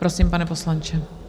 Prosím, pane poslanče.